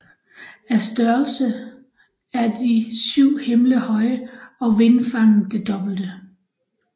Af størrelse er de syv himle høje og vingefanget det dobbelte